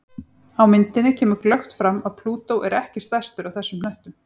Á myndinni kemur glöggt fram að Plútó er ekki stærstur af þessum hnöttum.